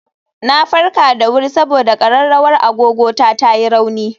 Na farka da wuri saboda ƙararrawar agogo ta ta yi rauni